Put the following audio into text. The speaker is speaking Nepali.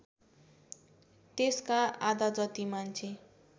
त्यसका आधाजति मान्छे